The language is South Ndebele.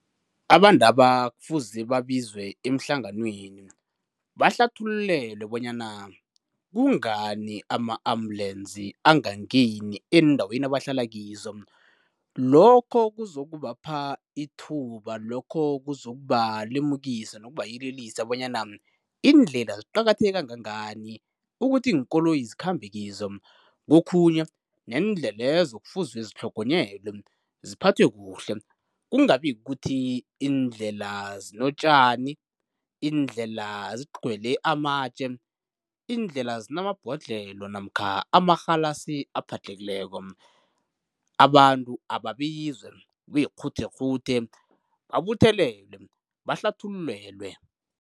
Abantu laba kufuze babizwe emhlanganweni bahlathululelwe bona kungani ama-ambulensi angangeni eendaweni abahlala kizo lokho kuzokubapha ithuba, lokho kuzokubalemukisa nokubayelelisa bonyana iindlela ziqakatheke kangangani ukuthi iinkoloyi zikhambe kizo kokhunye neendlelezo kufuze zitlhogonyelwe, ziphathwe kuhle kungabi kukuthi iindlela zinotjani, iindlela zigcwele amatje iindlela zinamabhodlelo namkha amarhalasi aphadlhekileko abantu ababizwe kube yikghuthe kghuthe babuthelelwe, bahlathululelwe.